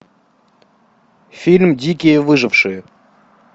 фильм дикие выжившие